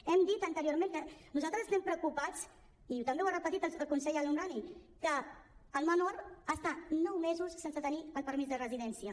hem dit anteriorment que nosaltres estem preocupats i també ho ha repetit el conseller el homrani perquè el menor està nou mesos sense tenir el permís de residència